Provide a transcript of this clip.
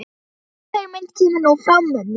Sú hugmynd kemur nú frá mömmu.